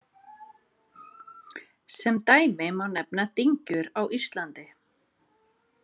Sem dæmi má nefna dyngjur á Íslandi.